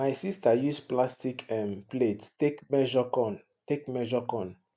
my sister use plastic um plate take measure corn take measure corn